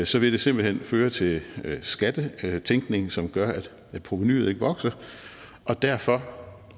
så vil det simpelt hen føre til skattetænkning som gør at provenuet ikke vokser og derfor